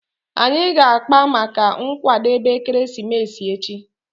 Anyị ga-akpa maka nkwadebe ekeresimesi echi